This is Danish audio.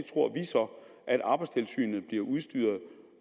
at arbejdstilsynet bliver udstyret